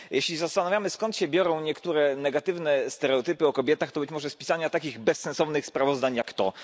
Jeśli się zastanawiamy, skąd się biorą niektóre negatywne stereotypy o kobietach, to być może z pisania takich bezsensownych sprawozdania jak to.